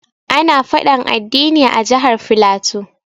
Ana faɗan addini a jihar flatu.